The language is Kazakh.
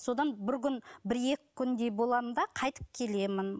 содан бір күн бір екі күндей боламын да қайтып келемін